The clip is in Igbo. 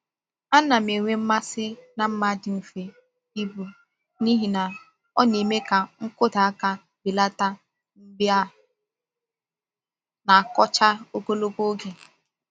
A na m-enwe mmasị na mma dị mfe ibu n’ihi na ọ na-eme ka nkụda aka belata mgbe a na-akọcha ogologo oge.